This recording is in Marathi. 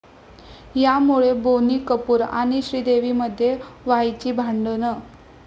यामुळे' बोनी कपूर आणि श्रीदेवीमध्ये व्हायची भांडणं!